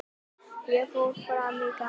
Ég fór fram á gang.